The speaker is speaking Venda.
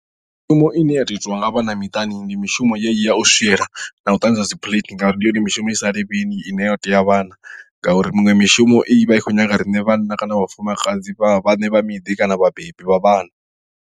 Mishumo ine ya tea u itiwa nga vhana miṱani ndi mishumo yeneyi ya u swiela na u ṱanzwa dzi plate ngauri ndi yone mishumo i sa lemeli ine yo tea vhana ngauri miṅwe mishumo i vha i khou nyaga riṋe vhanna kana vhafumakadzi vha vhaṋe vha miḓi kana vhabebi vha vhana.